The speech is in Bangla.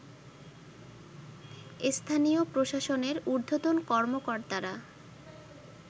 স্থানীয় প্রশাসনের ঊর্ধ্বতন কর্মকর্তারা